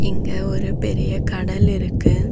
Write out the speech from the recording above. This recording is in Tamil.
இங்க ஒரு பெரிய கடல் இருக்கு.